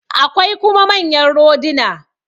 Akwai kuma manyan roduna.